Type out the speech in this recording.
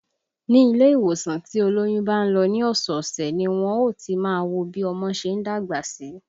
Ni ilé ìwòsàn tí olóyún bá ń lọ ní ọ̀sẹ̀ ọ̀sẹ̀ ni wọn ó ti máa wo bí ọmọ ṣe ń dàgbà sí